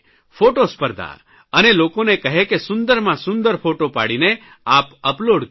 photo સ્પર્ધા અને લોકોને કહે કે સુંદરમાં સુંદર ફોટો પાડીને આપ અપલોડ કરો